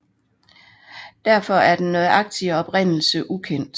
Derfor er den nøjagtige oprindelse ukendt